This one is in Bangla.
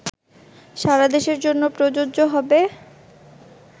সারাদেশের জন্য প্রযোজ্য হবে